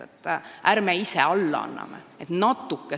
Ärme anname ise alla!